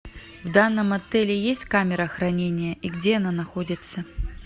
в данном отеле есть камера хранения и где она находится